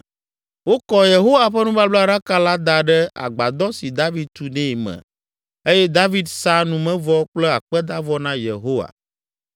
Wokɔ Yehowa ƒe nubablaɖaka la da ɖe agbadɔ si David tu nɛ me eye David sa numevɔ kple akpedavɔ na Yehowa.